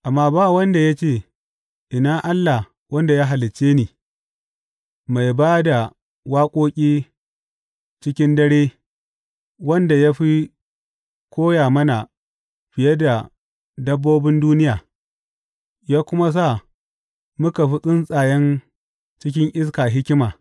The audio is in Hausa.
Amma ba wanda ya ce, Ina Allah wanda ya halicce ni, mai ba da waƙoƙi cikin dare, wanda ya fi koya mana fiye da dabbobin duniya ya kuma sa muka fi tsuntsayen cikin iska hikima.’